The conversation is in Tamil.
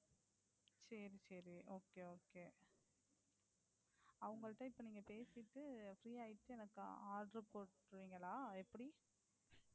சரி சரி Okay Okay அவங்கள்ட இப்போ பேசிட்டு Free ஆயிட்டு எனக்கு Order போட்டுருவீங்களா?